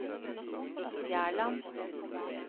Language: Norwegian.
Fjærland